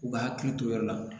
U ka hakili to yɔrɔ la